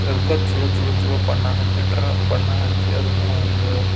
ಅದ್ಕ ಚ್ಹೋಲೋ ಚ್ಹೋಲೋ ಚ್ಹೋಲೋ ಬಣ್ಣ ಹಚ್ಚಿಟ್ಟರ ಬಣ್ಣ ಹಚ್ಚಿ ಅದನ್ನ ಒಂದು --